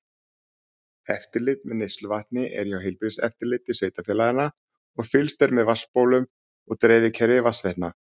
Eftirlit með neysluvatni er hjá heilbrigðiseftirliti sveitafélaganna og fylgst er með vatnsbólum og dreifikerfi vatnsveitna.